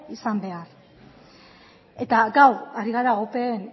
izan behar eta gaur ari gara opeen